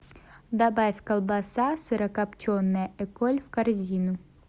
добавь колбаса сырокопченая эколь в корзину